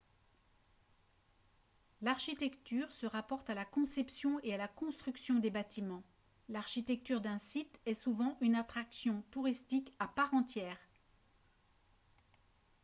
l'architecture se rapporte à la conception et à la construction des bâtiments l'architecture d'un site est souvent une attraction touristique à part entière